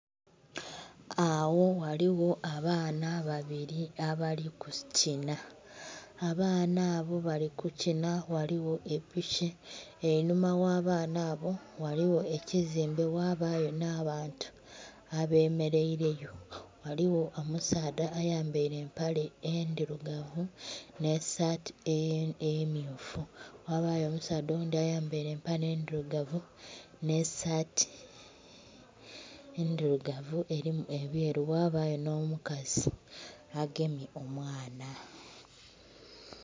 Agho ghaligho abaana babili abali kukinha. Abaana abo bali kukinha ghaligho epiki. Einhuma gha abaana abo ghaligho ekizimbe ghabayo nh'abantu abemeleile yo. Ghaligho omusaadha ayambaile empale endhilugavu nh'esaati emmyufu. Ghabayo omusaadha oghundhi ayambaile empale endhilugavu nh'esaati endhilugavu elimu ebyeru, ghabayo nh'omukazi agemye omwana.